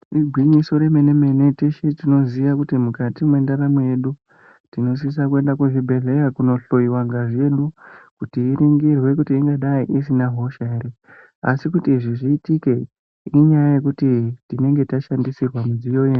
Igwinyiso remene-mene, teshe tinoziya kuti mukati mwendaramo yedu, tinosisa kuenda kuzvibhedhleya kunohloiwa ngazi yedu, kuti iringirwe kuti ingadai isina hosha ere. Asi kuti izvi zviitike, inyaya yekuti tinenge tashandisirwa pamidziyo ye...